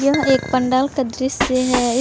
यह एक पंडाल का दृसय है। इस --